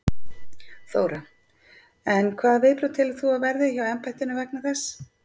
Þóra: En hvaða viðbrögð telur þú að verði hjá embættinu vegna þess?